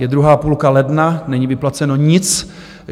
Je druhá půlka ledna, není vyplaceno nic.